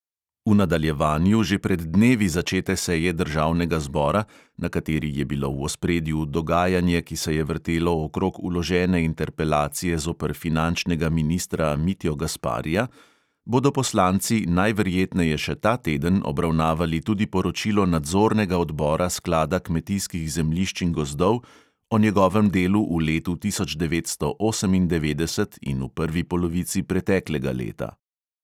V nadaljevanju že pred dnevi začete seje državnega zbora, na kateri je bilo v ospredju dogajanje, ki se je vrtelo okrog vložene interpelacije zoper finančnega ministra mitjo gasparija, bodo poslanci najverjetneje še ta teden obravnavali tudi poročilo nadzornega odbora sklada kmetijskih zemljišč in gozdov o njegovem delu v letu tisoč devetsto osemindevetdeset in v prvi polovici preteklega leta.